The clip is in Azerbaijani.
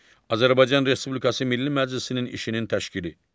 Azərbaycan Respublikası Milli Məclisinin işinin təşkili.